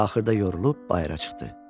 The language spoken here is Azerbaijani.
Axırda yorulub bayıra çıxdı.